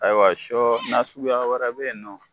Ayiwa sɔ nasuguya wɛrɛ bɛ yen nɔ